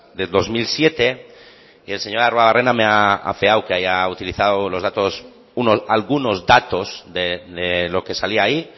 del dos mil siete y el señor arruabarrena me ha afeado que haya utilizado algunos datos de lo que salía ahí